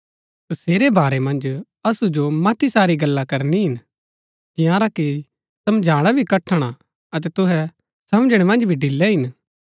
तसेरै बारै मन्ज असु जो मती सारी गल्ला करनी हिन जिआंरा की समझाणा भी कठण हा अतै तुहै समझणै मन्ज भी ढिलै हिन